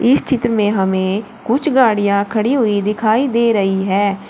इस चित्र में हमें कुछ गाड़ियां खड़ी हुई दिखाई दे रही हैं।